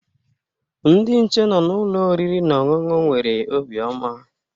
Ndị nche nọ na ụlọ oriri na ọṅụṅụ nwere obiọma